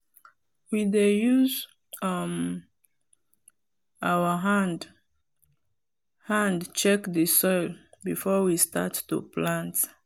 we dey use um our hand hand check the soil before we start to plant.